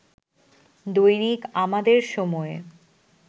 দৈনিক আমাদের সময়